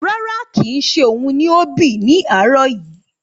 Rárá, kì í ṣe òun ni ó ṣẹ́ ní àárọ̀ yìí.